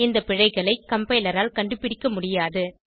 இந்த பிழைகளைஎ கம்பைலர் ஆல் கண்டுபிடிக்க முடியாது